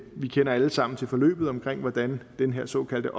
vi kender alle sammen til forløbet omkring hvordan den her såkaldte